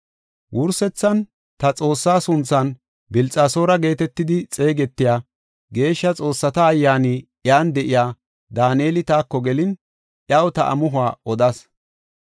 Wursethan ta xoossaa sunthan Bilxasoora geetetidi xeegetiya, geeshsha xoossata ayyaani iyan de7iya, Daaneli taako gelin, iyaw ta amuhuwa odas.